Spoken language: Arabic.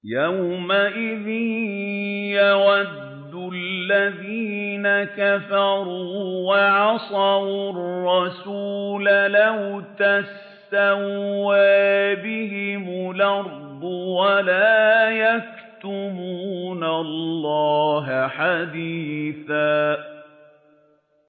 يَوْمَئِذٍ يَوَدُّ الَّذِينَ كَفَرُوا وَعَصَوُا الرَّسُولَ لَوْ تُسَوَّىٰ بِهِمُ الْأَرْضُ وَلَا يَكْتُمُونَ اللَّهَ حَدِيثًا